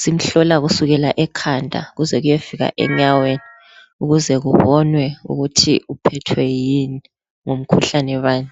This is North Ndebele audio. Simhlola kusukela ekhanda kuze kuyefika enyaweni ukuze kubonwe ukuthi uphethwe yini, ngumkhuhlane bani.